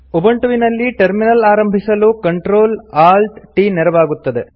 ಉಬಂಟುವಿನಲ್ಲಿ terminal ಆರಂಭಿಸಲು CtrlaltT ನೆರವಾಗುತ್ತದೆ